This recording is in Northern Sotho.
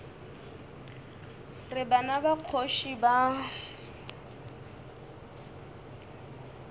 re bana ba kgoši ba